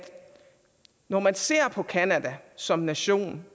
når man ser på canada som nation